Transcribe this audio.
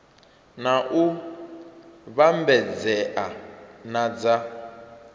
na u vhambedzea na dza